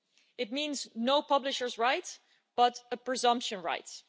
It means no publishers' rights, but presumption rights.